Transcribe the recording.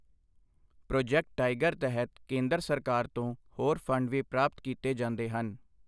Project tiger ਤਹਿਤ ਕੇਂਦਰ ਸਰਕਾਰ ਤੋਂ ਹੋਰ ਫੰਡ ਵੀ ਪ੍ਰਾਪਤ ਕੀਤੇ ਜਾਂਦੇ ਹਨ।